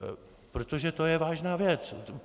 Protože to je vážná věc.